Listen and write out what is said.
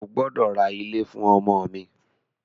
O gbọ́dọ̀ ra ilé fún ọmọ mi!